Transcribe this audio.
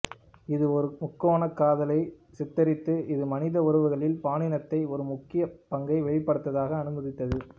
இது ஒரு முக்கோணக் காதலைச் சித்தரித்தது இது மனித உறவுகளில் பாலினத்தை ஒரு முக்கிய பங்கை வெளிப்படையாக அனுமதித்தது